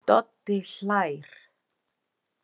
Doddi hlær.